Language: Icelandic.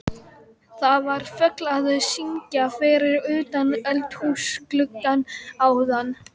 Það var fugl að syngja fyrir utan eldhúsgluggann áðan.